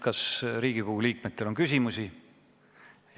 Kas Riigikogu liikmetel on küsimusi?